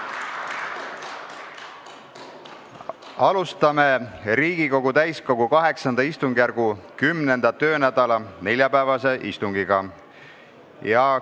Alustame Riigikogu täiskogu VIII istungjärgu 10. töönädala neljapäevast istungit.